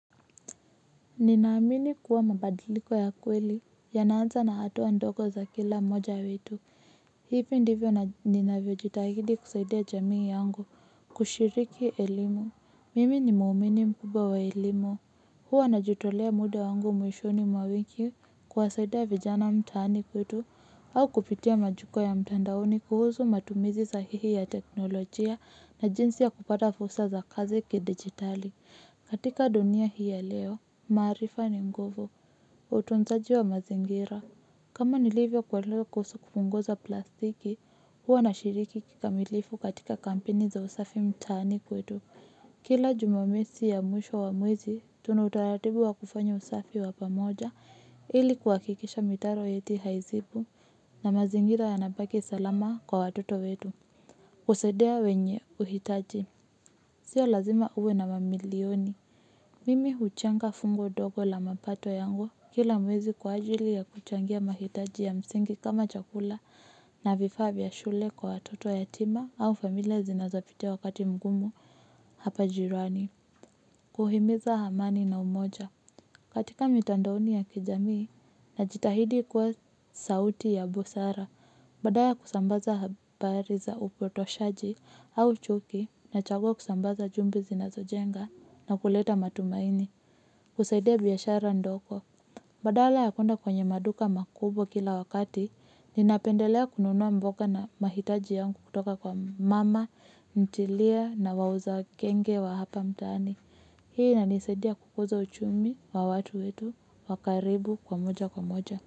Ninaamini kuwa mabadiliko ya kweli, yanaanza na hatuwa ndogo za kila mmoja wetu. Hivi ndivyo ninavyo jitahidi kusaidia jamii yangu, kushiriki elimu. Mimi ni muumini mkubwa wa elimu. Huwa najitolea muda wangu mwishoni mwa wiki kuwasaidia vijana mtani kwetu, au kupitia majukua ya mtandaoni kuhusu matumizi sahihi ya teknolojia na jinsi ya kupata fursa za kazi ki-digitali. Katika dunia hii ya leo. Marifa ni nguvu, utunzaji wa mazingira. Kama nilivyo kuwa leo kuhusu kupunguza plastiki, huwa na shiriki kikamilifu katika kampeni za usafi mtani kwetu. Kila jumamesi ya mwisho wa mwezi, tuna utaratibu wa kufanya usafi wapamoja ili kwa kikisha mitaro yetu haizibwi na mazingira yanapaki salama kwa watoto wetu. Usadia wenye uhitaji, sio lazima uwe na mamilioni. Mimi huchanga fungo dogo la mapato yangu kila mwezi kwa ajili ya kuchangia mahitaji ya msingi kama chakula na vifa via shule kwa watoto yatima au familia zinazopitia wakati mgumu hapa jirani. Kuhimiza hamani na umoja katika mitandaoni ya kijamii na jitahidi kuwa sauti ya busara. Badaya kusambaza habari za upotoshaji au chuki nachagua kusambaza jumbe zina zojenga na kuleta matumaini. Kusaidia biyashara ndoko. Badala ya kuenda kwenye maduka makubwa kila wakati. Ninapendelea kununua mboka na mahitaji yangu kutoka kwa mama, mtilia na wauza kenge wa hapa mtani. Hii inanisadia kukuza uchumi wa watu wetu wakaribu kwa moja kwa moja.